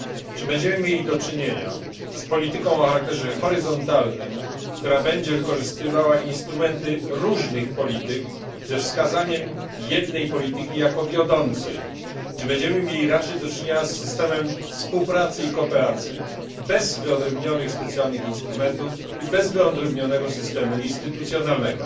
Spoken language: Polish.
Czy będziemy mieli do czynienia z polityką o charakterze horyzontalnym, która będzie wykorzystywała instrumenty różnych polityk ze wskazaniem jednej polityki jako wiodącej, czy będziemy mieli raczej do czynienia z systemem współpracy i kooperacji bez wyodrębnionych specjalnych instrumentów i bez wyodrębnionego systemu instytucjonalnego?